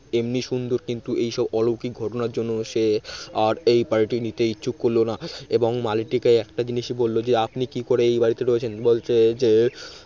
এমনি সুন্দর কিন্তু এইসব অলৌকিক ঘটনার জন্য সে আর এই বাড়িটি নিতে ইচ্ছুক করল না। এবং মালিটিকে একটা জিনিসই বলল যে আপনি কি করে এই বাড়িতে রয়েছেন বলছে যে